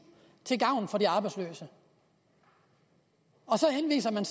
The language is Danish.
til gavn for de arbejdsløse og så henviser man